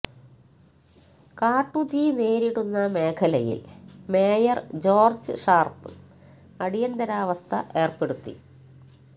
കാട്ടുതീ നേരിടുന്ന മേഖലയില് മേയര് ജോര്ജ് ഷാര്പ്പ് അടിയന്തരാവസ്ഥ ഏര്പ്പെടുത്തി